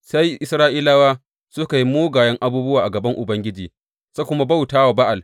Sai Isra’ilawa suka yi mugaye abubuwa a gaban Ubangiji suka kuma bauta Ba’al.